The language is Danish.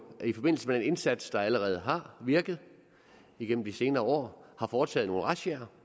i forbindelse med den indsats der allerede har virket igennem de senere år har foretaget nogle razziaer